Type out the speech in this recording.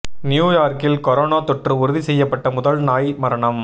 new யார்க்கில் corona தொற்று உறுதி செய்யப்பட்ட முதல் நாய் மரணம்